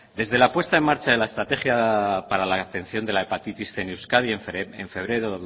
desde la puesta en marcha de la estrategia para la atención de la hepatitis cien en euskadi en febrero